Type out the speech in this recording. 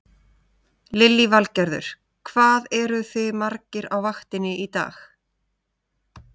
Lillý Valgerður: Hvað eruð þið margir á vaktinni í dag?